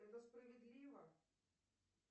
это справедливо